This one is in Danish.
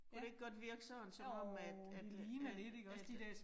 Kunne det ikke godt virke sådan som om at at, at at